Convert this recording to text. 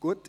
Gut